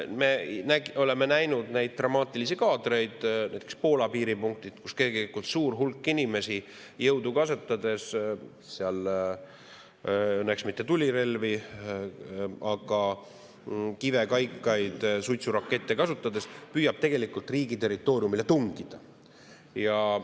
Me oleme näinud dramaatilisi kaadreid näiteks Poola piiripunktist, kus suur hulk inimesi püüab jõudu kasutades – õnneks mitte tulirelvi, aga kive, kaikaid, suitsurakette kasutades – riigi territooriumile tungida.